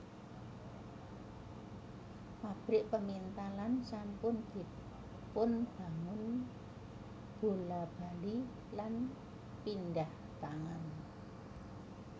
Pabrik pemintalan sampun dipunbangun bola bali lan pindhah tangan